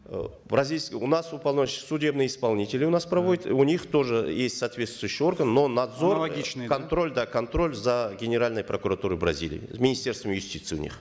э у нас уполномочен судебный исполнитель у нас проводит у них тоже есть соответствующий орган но надзор аналогичный да контроль да контроль за генеральной прокуратурой бразилии министерство юстиции у них